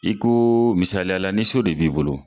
Iko misaliya la ni so de b'i bolo,